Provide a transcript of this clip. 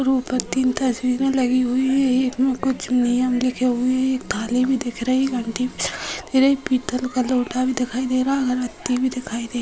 ऊपर तीन तस्वीरे लगी हुई हैएक मे कुछ नियम लिखे हुए हैं एक थाली भी दिख रही है और पीतल का लोटा भी दिखाई दे रहा इधर एक व्यक्ति भी दिखाई